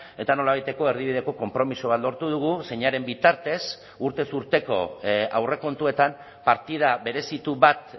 eta nolabaiteko erdibideko konpromiso bat lortu dugu zeinaren bitartez urtez urteko aurrekontuetan partida berezitu bat